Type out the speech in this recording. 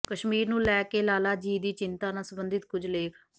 ਕਸ਼ਮੀਰ ਨੂੰ ਲੈ ਕੇ ਲਾਲਾ ਜੀ ਦੀ ਚਿੰਤਾ ਨਾਲ ਸਬੰਧਤ ਕੁਝ ਲੇਖ